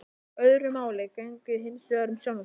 Öðru máli gegndi hinsvegar um sjálfan mig.